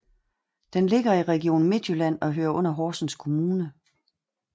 Den ligger i Region Midtjylland og hører under Horsens Kommune